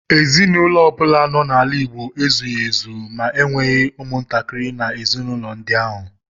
Ezinụlọ ọbụla nọ n’ala Igbo ezughị ezu ma enweghị umuntakiri nọ n’ezinaụlọ ndi ahu.